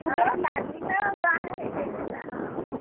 ଲାଲୀ ତ ବାହା ହେଇ ଯାଇଥିଲା ହଁ